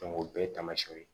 o bɛɛ ye taamasiyɛnw ye